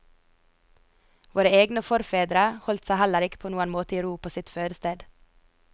Våre egne forfedre holdt seg heller ikke på noen måte i ro på sitt fødested.